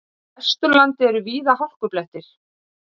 Á Vesturlandi eru víða hálkublettir